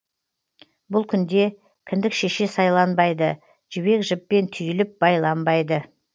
бұл күнде кіндік шеше сайланбайды жібек жіппен түйіліп байланбайды